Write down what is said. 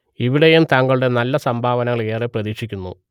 ഇവിടെയും താങ്കളുടെ നല്ല സംഭാവനകൾ ഏറെ പ്രതീക്ഷിക്കുന്നു